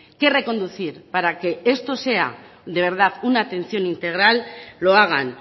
qué reconducir para que esto sea de verdad una atención integral lo hagan